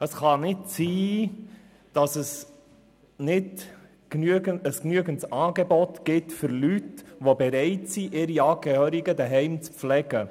Es kann nicht sein, dass es kein genügendes Angebot gibt für Leute, die bereit sind, ihre Angehörigen zu Hause zu pflegen.